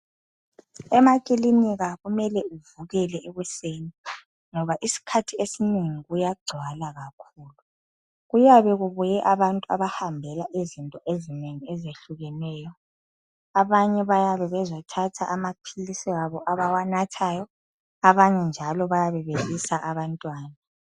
Emakilinika kumele uvukele ekuseni ngoba isikhathi esinengi kuyagcwala kakhulu. Kuyabe kubuye abantu abahambela izinto ezinengi ezehlukeneyo abanye bayabe bezothatha amaphilisi abo abawanathayo abanye njalo bayabe bebisa abantwana.